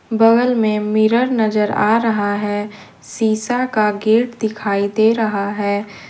बगल में मिरर नजर आ रहा है शीशा का गेट दिखाई दे रहा है।